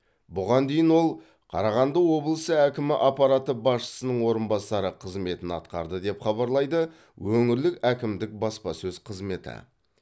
бұған дейін ол қарағанды облысы әкімі аппараты басшысының орынбасары қызметін атқарды деп хабарлайды өңірлік әкімдік баспасөз қызметі